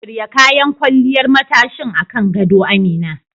Shirya kayan kwalliyar matashin akan gado Amina.